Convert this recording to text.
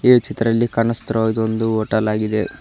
ಈ ಚಿತ್ರದಲ್ಲಿ ಕಾಣಿಸುತ್ತಿರುವ ಇದೊಂದು ಹೋಟೆಲ್ ಆಗಿದೆ.